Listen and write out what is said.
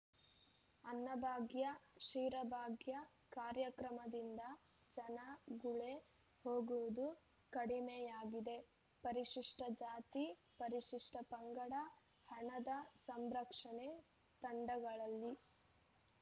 ಅನ್ನಭಾಗ್ಯ ಕ್ಷೀರಭಾಗ್ಯ ಕಾರ್ಯಕ್ರಮದಿಂದ ಜನ ಗುಳೆ ಹೋಗುವುದು ಕಡಿಮೆಯಾಗಿದೆ ಪರಿಶಿಷ್ಟ ಜಾತಿ ಪರಿಶಿಷ್ಟ ಪಂಗಡದ ಹಣದ ಸಂರಕ್ಷಣೆ ತಾಂಡಾಗಳಲ್ಲಿ